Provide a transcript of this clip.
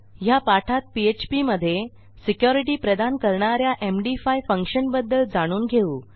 ह्या पाठात पीएचपी मधे securityप्रदान करणा या एमडी5 फंक्शन बद्दल जाणून घेऊ